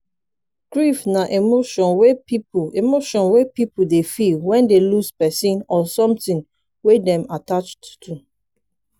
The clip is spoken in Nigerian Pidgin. grief na emotion wey pipo emotion wey pipo dey feel when dey lose person or something wey dem attached to